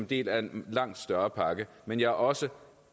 del af en langt større pakke men jeg er også